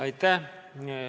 Aitäh!